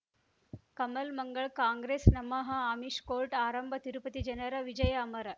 ಕಮಲ್ ಮಂಗಳ್ ಕಾಂಗ್ರೆಸ್ ನಮಃ ಅಮಿಷ್ ಕೋರ್ಟ್ ಆರಂಭ ತಿರುಪತಿ ಜನರ ವಿಜಯ ಅಮರ್